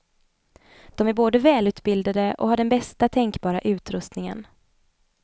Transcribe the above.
De är både välutbildade och har den bästa tänkbara utrustningen.